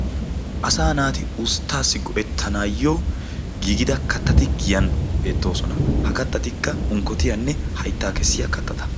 sa naati usttaassi go'etanayyo giigida kattati giyan beettoosona. ha kattati unkkotiyaanne hayttaa kessiya kattata.